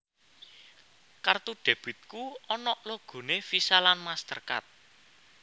Kartu debitku onok logone Visa lan MasterCard